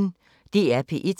DR P1